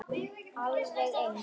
Alveg eins!